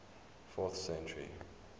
fourth century